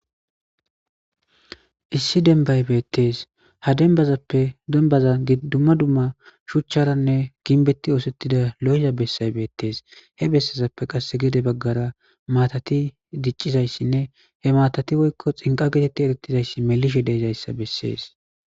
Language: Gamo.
Issi denbbay beeththees; ha denbbazappe dembbaza dzumma dzumma shuchcharanne ginbeththi ooseththida lo7eza bessay beeththees; he bessezappe qassi gede baggara maathathi diccizayssinne he maathathi woykko xinqqa getheththi ereththizayssi melishe de7izayssa bessees.